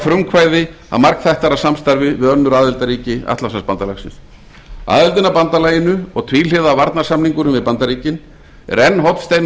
frumkvæði að margþættara samstarfi við önnur aðildarríki atlantshafsbandalagsins aðildin að bandalaginu og tvíhliða varnarsamningurinn við bandaríkin er enn hornsteinar